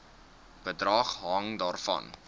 bedrag hang daarvan